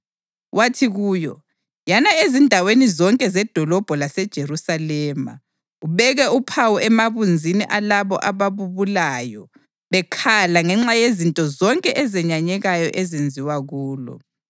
wathi kuyo, “Yana ezindaweni zonke zedolobho laseJerusalema ubeke uphawu emabunzini alabo ababubulayo bekhala ngenxa yezinto zonke ezenyanyekayo ezenziwa kulo.”